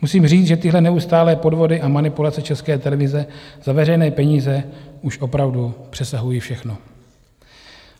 Musím říct, že tyhle neustálé podvody a manipulace České televize za veřejné peníze už opravdu přesahují všechno.